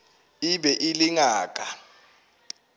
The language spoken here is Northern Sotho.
e be e le ngaka